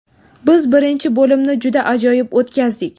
Biz birinchi bo‘limni juda ajoyib o‘tkazdik.